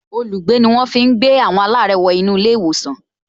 Olùgbé ni wọ́n fi ń gbé àwọn alare wo inú ilé ìwòsàn